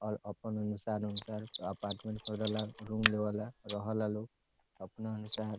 और अपन अनुसार अनुसार अपार्टमेंट खोजला रूम लेवला रहे ला लोग अपना अनुसार |